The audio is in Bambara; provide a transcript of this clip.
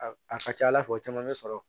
A ka ca ala fɛ o caman bɛ sɔrɔ